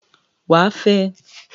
Wàá fẹ!